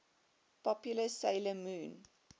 popular 'sailor moon